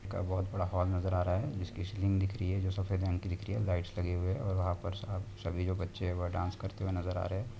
-का बहुत बड़ा हॉल नज़र आ रहा है जिसकी सीलिंग दिख रही है जो सफ़ेद रंग की दिख रही है लाइटस लगे हुई है और वहां पर साब- सभी जो बच्चे हैं डांस करते हुए नज़रआ रहे हैं।